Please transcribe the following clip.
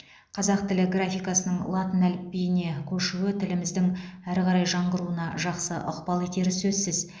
қазақ тілі графикасының латын әліпбиіне көшуі тіліміздің әрі қарай жаңғыруына жақсы ықпал етері сөзсіз